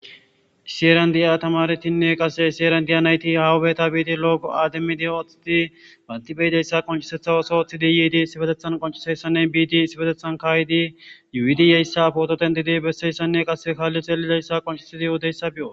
siyeran di7a tamaretinne qase siyeran diya nayti ha beta biidi loogo aademmidi oththidi bantibeydeyssa qonshisetha oso oththi diyidi sibetethan qoncshisesanne biidi sibetethan kaaydi yuidiyeyssa poototen diidi besseyssanne qase kaalli xelideyssa qoncshisi di yudeyssa be7o